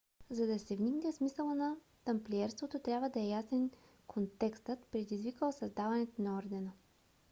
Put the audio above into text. за да се вникне в смисъла на тамплиерството трябва да е ясен контекстът предизвикал създаването на ордена